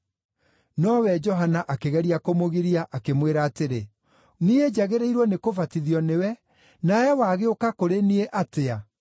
Nowe Johana akĩgeria kũmũgiria, akĩmwĩra atĩrĩ, “Niĩ njagĩrĩirwo nĩkũbatithio nĩwe, nawe wagĩũka kũrĩ niĩ atĩa?”